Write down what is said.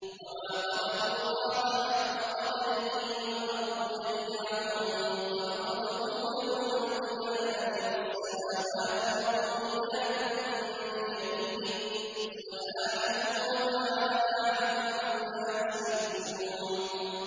وَمَا قَدَرُوا اللَّهَ حَقَّ قَدْرِهِ وَالْأَرْضُ جَمِيعًا قَبْضَتُهُ يَوْمَ الْقِيَامَةِ وَالسَّمَاوَاتُ مَطْوِيَّاتٌ بِيَمِينِهِ ۚ سُبْحَانَهُ وَتَعَالَىٰ عَمَّا يُشْرِكُونَ